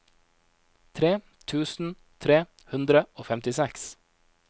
tre tusen tre hundre og femtiseks